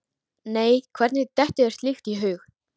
Nei, hvernig dettur þér slíkt í hug?